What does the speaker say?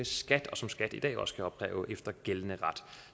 skat og som skat i dag også kan opkræve efter gældende ret